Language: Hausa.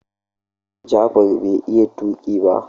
Jafar bai iya tuki ba.